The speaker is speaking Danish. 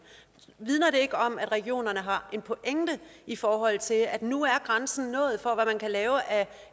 vidner det ikke om at regionerne har en pointe i forhold til at nu er grænsen nået for hvad man kan lave af